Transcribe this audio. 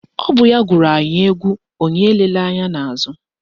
Ọ bụ ya gụrụ anyị égwú onye elela ányá n'àzụ́